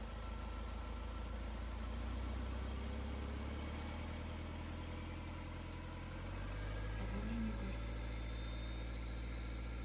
пополнение карты